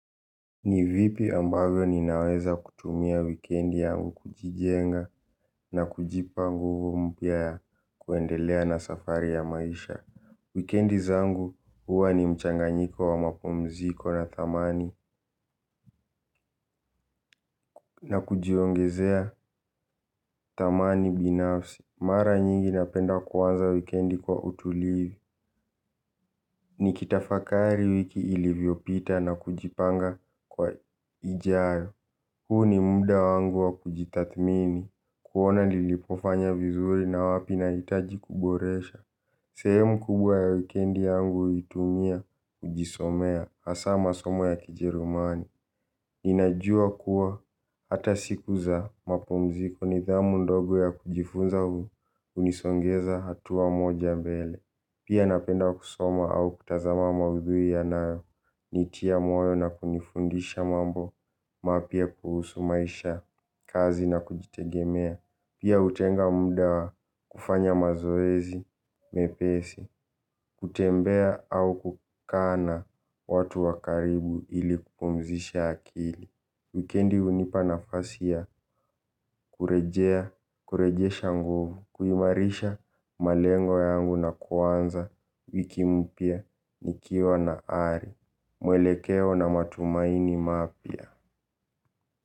Nivipi ambayo ninaweza kutumia wikendi yangu kujijenga na kujipa nguvu mpya ya kuendelea na safari ya maisha. Wikiendi zangu, huwa ni mchanganyiko wa mapumziko natamani. Na kujiongezea thamani binafsi. Mara nyingi napenda kuanza wikiendi kwa utulivu. Nikitafakari wiki ilivyopita na kujipanga kwa ijayo. Huu ni muda wangu wa kujitathmini, kuona nilipofanya vizuri na wapi nahitaji kuboresha. Sehemu kubwa ya wikendi yangu huitumia kujisomea, hasa masomo ya kijerumani. Ninajua kuwa hata siku za mapumziko nidhamu ndogo ya kujifunza hunisogeza hatua moja mbele. Pia napenda kusoma au kutazama maudhui yanayo nitia moyo na kunifundisha mambo, mapya kuhusu Maisha, Kazi na kujitegemea. Pia hutenga muda kufanya mazoezi, mepesi, kutembea au kukaa na watu wa karibu ili kupumzisha akili. Wikiendi hunipa nafasi ya kurejesha nguvu, kuimarisha malengo yangu na kuanza wiki mpya, nikiwa na ari, muelekeo na matumaini mapya.